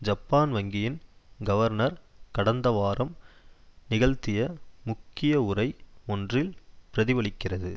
Japan வங்கியின் governor கடந்த வாரம் நிகழ்த்திய முக்கிய உரை ஒன்றில் பிரதிபலிக்கிறது